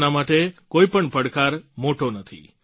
તેમના માટે કોઈપણ પડકાર મોટો નથી